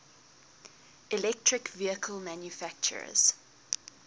electric vehicle manufacturers